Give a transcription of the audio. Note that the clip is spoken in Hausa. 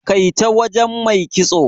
Kai ta wajen Mai kitso.